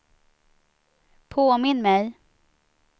påminn mig